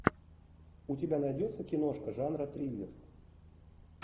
у тебя найдется киношка жанра триллер